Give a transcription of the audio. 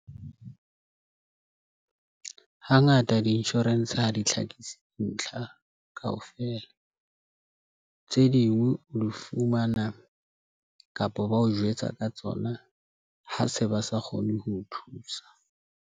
Hangata di-insurance ha di tlhakisi dintlha kaofela tse ding o di fumana, kapa ba o jwetsa ka tsona, ha se ba sa kgone ho o thusa.